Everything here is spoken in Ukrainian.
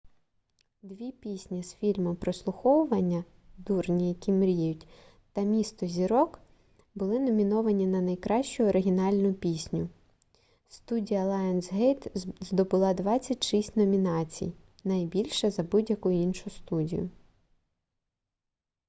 дві пісні з фільму прослуховування дурні які мріють та місто зірок були номіновані на найкращу оригінальну пісню. студія лайонсгейт здобула 26 номінацій – більше за будь-яку іншу студію